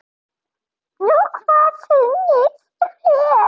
Nú hvað sýnist þér.